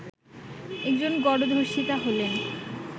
একজন গণধর্ষিতা হলেন